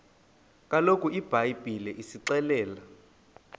kaloku ibhayibhile isixelela